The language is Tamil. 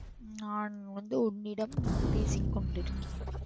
நான் வந்து உன்னிடம் பேசிக் கொண்டிருக்கிறேன்.